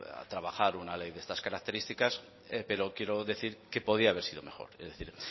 trabajar una ley de estas características pero quiero decir que podía haber sido mejor es decir